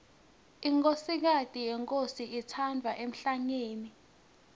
inkhosikati yenkhosi itsatfwa emhlangeni